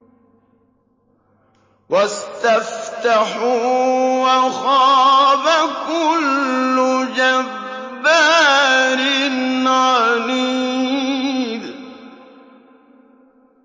وَاسْتَفْتَحُوا وَخَابَ كُلُّ جَبَّارٍ عَنِيدٍ